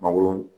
Mangoro